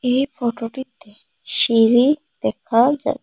এই ফটোটিতে সিঁড়ি দেখা যা--